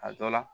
A dɔ la